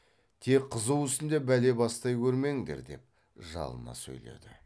тек қызу үстінде бәле бастай көрмеңдер деп жалына сөйледі